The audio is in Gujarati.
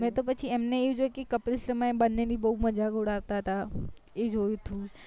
મેં તો પછી એમને જોય કે કપિલ શર્મા એ બંને ની બૌ મજાક ઉડાવતા હતા એ જોયું હતું મેં